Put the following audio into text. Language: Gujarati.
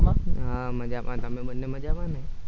હા મજામાં તમે બંને મજામાં ને